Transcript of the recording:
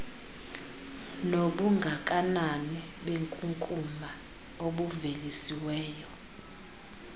nobungakanani benkunkuma obuvelisiweyo